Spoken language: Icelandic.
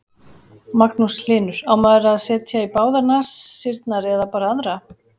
Magnús Hlynur: Á maður að setja í báðar nasirnar eða bara aðra?